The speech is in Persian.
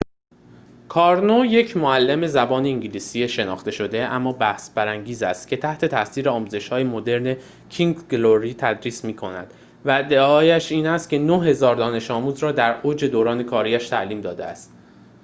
کارنو یک معلم زبان انگلیسی شناخته شده اما بحث‌برانگیز است که تحت‌تاثیر آموزش‌های مدرن کینگز گلوری تدریس می‌کند و ادعایش این است که ۹۰۰۰ دانش آموز را در اوج دوران کاری‌اش تعلیم داده است